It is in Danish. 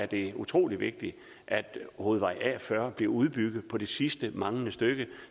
det utrolig vigtigt at hovedvej a40 bliver udbygget på det sidste manglende stykke